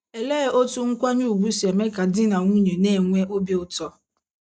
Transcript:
Olee otú nkwanye ùgwù si eme ka di na nwunye na - enwe obi ụtọ?